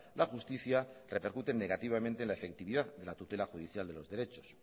la justicia repercuten negativamente en la efectividad de la tutela judicial de los derechos